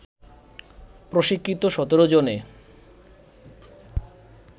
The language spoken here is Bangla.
প্রশিক্ষিত ১৭ জনে